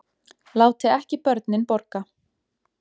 Láti ekki börnin borga